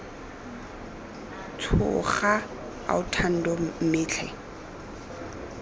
tshoga ao thando mme tlhe